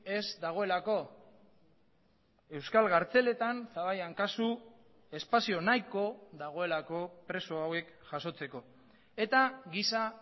ez dagoelako euskal kartzeletan zaballan kasu espazio nahiko dagoelako preso hauek jasotzeko eta giza